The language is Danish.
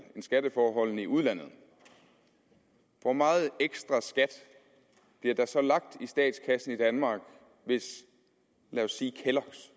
end skatteforholdene i udlandet hvor meget ekstraskat bliver der så lagt i statskassen i danmark hvis kelloggs